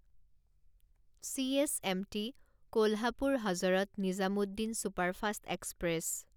CSMT Kolhapur Hazrat Nizamuddin superfast express